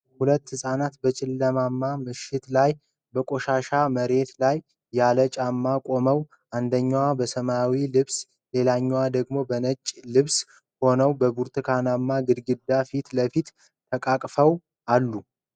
ሁለት ሕፃናት በጨለማማ ምሽት ላይ በቆሻሻ መሬት ላይ ያለ ጫማ ቆመው አንደኛው በሰማያዊ ልብስ ሌላኛው ደግሞ በነጭ ልብስ ሆኖ በብርቱካንማ ግድግዳ ፊት ለፊት ተቃቅፈው አሉ።